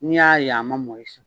N' y'a ye a ma mɔn